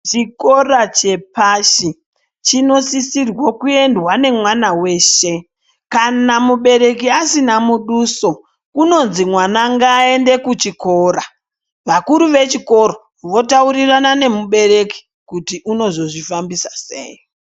Chikora chepashi chinosisirwa kuendwa nemwana weshe kana mubereki asina muduso kunonzi mwana ngaaende kuchikora vakuru vechikora votaurirana nemubereki kuti unozozvifambisa sei.